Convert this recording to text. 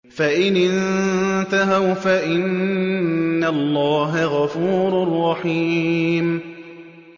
فَإِنِ انتَهَوْا فَإِنَّ اللَّهَ غَفُورٌ رَّحِيمٌ